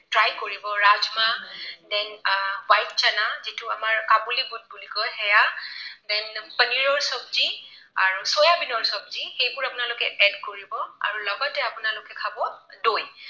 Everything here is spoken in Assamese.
Try কৰিব ৰাজমাহ then white চানা যিটো আমাৰ কাবুলি বুট বুলি কয়, সেয়া then পনীৰৰ চবজি আৰু চয়া বীনৰ চবজি, সেইবোৰ আপোনালোকে add কৰিব আৰু লগতে আপোনালোকে খাব, দৈ।